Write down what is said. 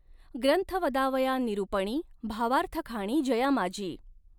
ग्रंथ वदावया निरुपणी भावार्थखाणी जयामाजी।